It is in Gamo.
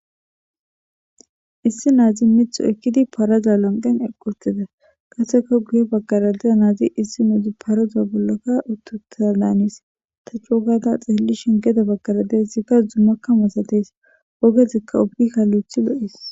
Issi naazi mitho ekkidi paroza lanqen eqqotida qaseka guye baggaradea naazi issi nuudi paroza bollokka uttuta daanis ta co gada xeellishen geda baggara dizikka zummakka musates ogezikka obika loyithi lo'is.